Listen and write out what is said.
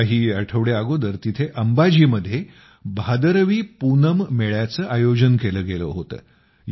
काही आठवडे अगोदर तेथे अंबाजीमध्ये भादरवी पून मेळ्याचं आयोजन केलं गेलं होतं